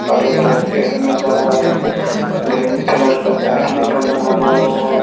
बड़े बड़े पेड़ नजर आ रहे ग्रीन कलर का बैठने का बनाया हुआ है।